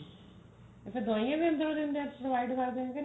ਅੱਛਾ ਦਵਾਈਆਂ ਵੀ ਅੰਦਰੋ ਦਿੰਦੇ ਨੇ ਕਰਦੇ ਨੇ ਕੇ ਨਹੀਂ